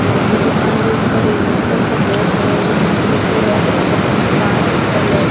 और बी दुकान रे ऊपर एक मोटो सो बोट है विमाते लिखोड़ो है स्वागतम पान पैलेस ।